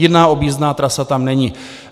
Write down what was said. Jiná objízdná trasa tam není.